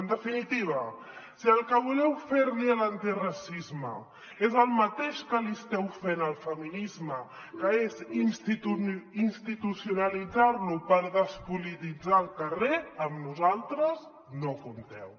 en definitiva si el que voleu fer li a l’antiracisme és el mateix que li esteu fent al feminisme que és institucionalitzar lo per despolititzar el carrer amb nosaltres no hi compteu